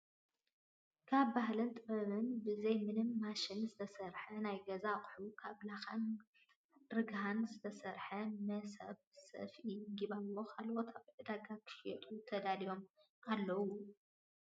ካብ ባህልን ጥበብ ብዘይ ምንም ማሽን ዝተሰርሑ ናይ ገዛ ኣቁሑ ካብ ላካን ርገሀን ዝተሰርሑ መሰብ፣ ሰፍኢ ፣ጊባቦ ካልኦትን ኣብ ዕዳጋ ክሽየጡ ተዳልዮም ኣለው።